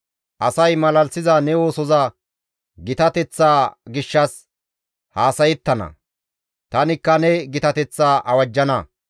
Asay malalisiza ne oosoza gitateththa gishshas haasayettana; tanikka ne gitateththa awajjana.